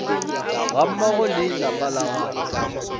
gammogo le lapa la gagwe